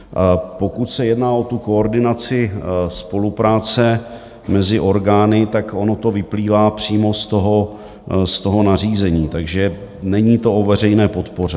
Pokud se jedná o tu koordinaci spolupráce mezi orgány, tak ono to vyplývá přímo z toho nařízení, takže není to o veřejné podpoře.